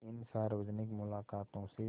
इन सार्वजनिक मुलाक़ातों से